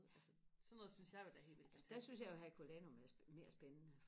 altså sådan noget synes jeg jo er helt vildt